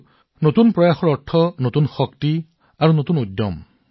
আৰু নতুন প্ৰচেষ্টাৰ অৰ্থ হৈছে নতুন শক্তি আৰু নতুন উৎসাহ